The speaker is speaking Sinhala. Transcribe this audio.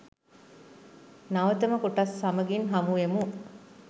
නවතම කොටස් සමගින් හමුවෙමු.